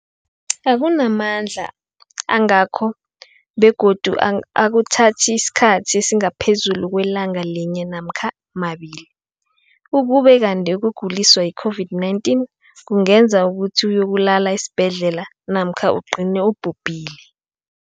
akuna mandla angako begodu akuthathi isikhathi esingaphezulu kwelanga linye namkha mabili, ukube kanti ukuguliswa yi-COVID-19 kungenza ukuthi uyokulala esibhedlela namkha ugcine ubhubhile.